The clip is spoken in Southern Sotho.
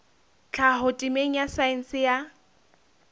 tlhaho temeng ya saense ya